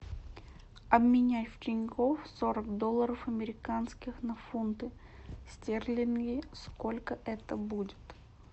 обменяй в тинькофф сорок долларов американских на фунты стерлинги сколько это будет